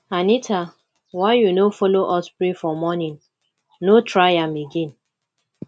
anita why you no follow us pray for morning no try am again